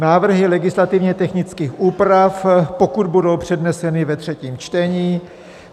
Návrhy legislativně technických úprav, pokud budou předneseny ve třetím čtení.